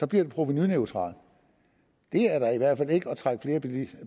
bliver den provenuneutral det er da i hvert fald ikke at trække